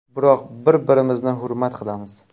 Biroq bir-birimizni hurmat qilamiz.